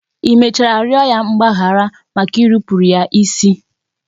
I mechara rịọ ya mgbaghara maka irupuru ya isi?